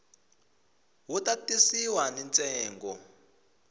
wu ta tisiwa ni ntsengo